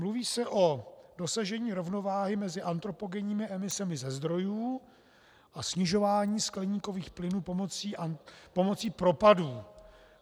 Mluví se o dosažení rovnováhy mezi antropogenními emisemi ze zdrojů a snižování skleníkových plynů pomocí propadů.